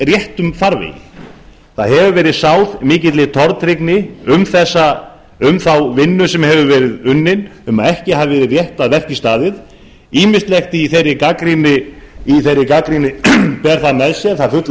réttum farvegi það hefur verið sáð mikilli tortryggni í garð þeirrar vinnu sem unnin hefur verið um að ekki hafi verið rétt að verki staðið ýmislegt í þeirri gagnrýni ber það með sér að það er full